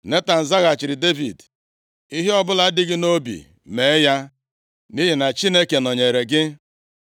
Netan zaghachiri Devid, “Ihe ọbụla dị gị nʼobi, mee ya, nʼihi na Chineke nọnyeere gị.”